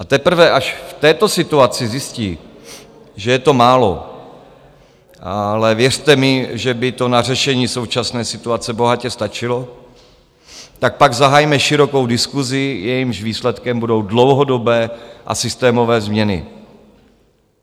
A teprve až v této situaci zjistí, že je to málo, ale věřte mi, že by to na řešení současné situace bohatě stačilo, tak pak zahajme širokou diskusi, jejímž výsledkem budou dlouhodobé a systémové změny.